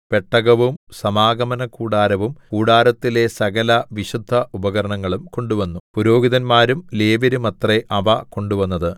പെട്ടകവും സമാഗമനകൂടാരവും കൂടാരത്തിലെ സകലവിശുദ്ധ ഉപകരണങ്ങളും കൊണ്ടുവന്നു പുരോഹിതന്മാരും ലേവ്യരുമത്രേ അവ കൊണ്ടുവന്നത്